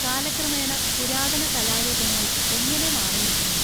കാലക്രമേണ പുരാതന കലാരൂപങ്ങൾ എങ്ങനെ മാറിയിരിക്കുന്നു?